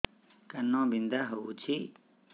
କାନ ବିନ୍ଧା ହଉଛି